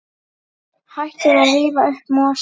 Hættið að rífa upp mosann.